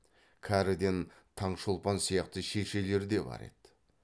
кәріден таңшолпан сияқты шешелер де бар еді